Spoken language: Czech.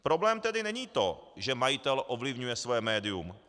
Problém tedy není to, že majitel ovlivňuje svoje médium.